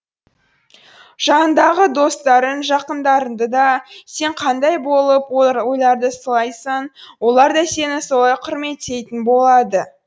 жаныңдағы достарың жақындарыңды да сен қандай болып оларды сыйласаң олар да сені солай құрметтейтін болады